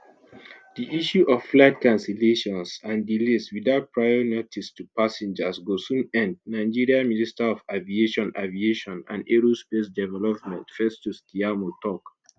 di issue of flight cancellations and delays without prior notice to passengers go soon end nigeria minister of aviation aviation and aerospace development festus keyamo tok.